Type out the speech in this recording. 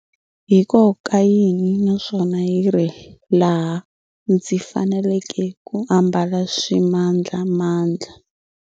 Hi ko ka yini naswona hi rihi laha ndzi fanelekeke ku ambala swimandlamandla?